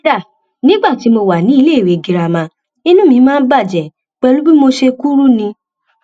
kódà nígbà tí mo wà níléèwé girama inú mi máa ń bàjẹ pẹlú bí mo ṣe kúrú ni